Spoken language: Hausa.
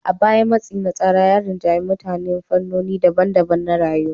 A baya, matsi na tsara ya rinjayi mutane a fannoni daban-daban na rayuwa.